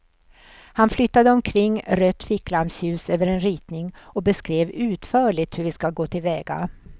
Han flyttade omkring rött ficklampsljus över en ritning och beskrev utförligt hur vi ska gå till väga.